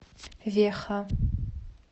веха